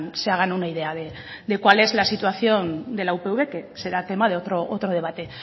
se hagan una idea de cuál es la situación de la upv que será tema de otro debate